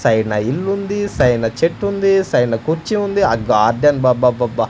Side న ఇల్లుంది side న చెట్టుంది సైడ్ న కుర్చీ ఉంది ఆ గార్డెన్ అబ్బబ్బబ్బబ్బ.